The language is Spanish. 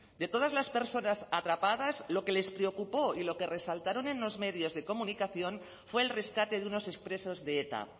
de todas las personas atrapadas lo que les preocupó y lo que resaltaron en los medios de comunicación fue el rescate de unos expresos de eta